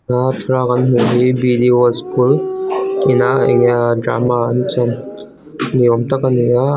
tuna thlalak a kan hmuh hi b d world school ina enge ahh drama an chan ni awmtak a ni a--